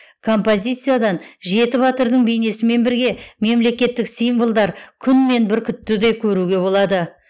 композициядан жеті батырдың бейнесімен бірге мемлекеттік символдар күн мен бүркітті де көруге болады